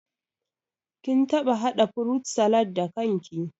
Kin taɓa haɗa furut salad da kan ki?